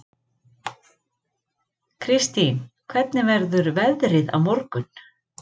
Kirstín, hvernig verður veðrið á morgun?